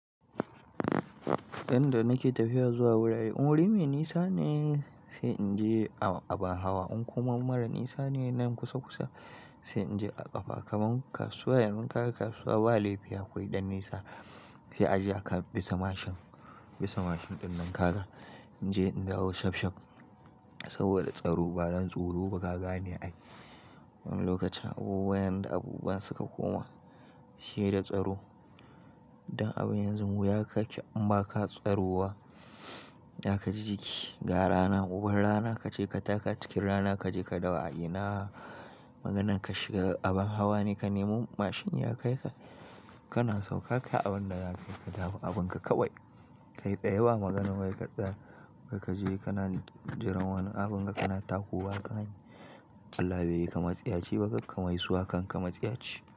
Dan da nake tafiya zuwa wurare, in wuri mai nisa ne sai in je a abin hawa. In kuma mara nisa ne nan kusa kusa sai in je a ƙafa. Kaman kasuwa, yanzun kaga kasuwa ba laifi akwai ɗan nisa sai a je a ka bisa mashin, bisa mashin ɗin nan ka ga in je in dawo shaf shaf saboda tsaro. Ba dan tsoro ba ka gane ai. Wani lokacin abubuwa yanda abubuwa suka koma she da tsaro. Dan abu yanzun wuya ka ke in ba ka tsaro wa, za ka ji jiki. Ga rana, uban rana ka je ka taka cikin rana ka je ka dawo a ina. Maganan ka shiga abin hawa ne ka nemo mashin ya kai ka, kana sauka kai abin da za ka yi ka dawo abin ka kawai. Kai tsaye ba maganan wai ka tsaya, wai ka je kana jiran wani abun ka kana takowa kan hanya. Allah be yi ka matsiyaci ba kakka mai suwa kan ka matsiyaci.